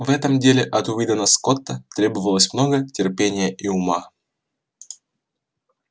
в этом деле от уидона скотта требовалось много терпения и ума